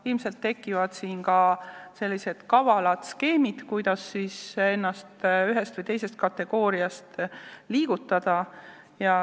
Ilmselt tekivad siin ka sellised kavalad skeemid, kuidas ennast ühest kategooriast teise liigutada.